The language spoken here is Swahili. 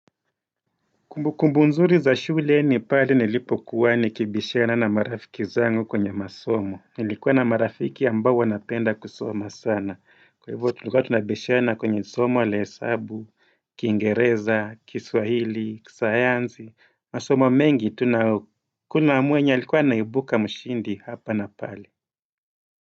Kumbu kumbu nzuri za shule ni pale nilipo kuwa nikibishana na marafiki zangu kwenye masomo. Nilikuwa na marafiki ambao wanapenda kusoma sana. Kwa hivyo tulikuwatunabishana kwenye somo ala hesabu, kingereza, kiswahili, kisayanzi. Masomo mengi kuna mwenye alikuwa anaibuka mshindi hapa na pale.